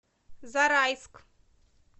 зарайск